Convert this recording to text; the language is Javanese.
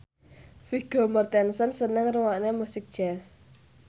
Vigo Mortensen seneng ngrungokne musik jazz